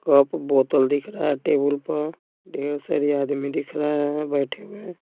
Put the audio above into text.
Cup बोतल दिख रहा है टेबुल पर ढेर सारी आदमी दिख रहा है बैठे हुए।